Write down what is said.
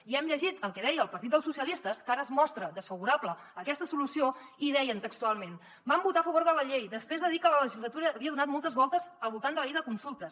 i hem llegit el que deia el partit socialistes que ara es mostra desfavorable a aquesta solució i deien textualment vam votar a favor de la llei després de dir que la legislatura havia donat moltes voltes al voltant de la llei de consultes